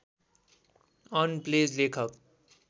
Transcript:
on प्लेज लेखक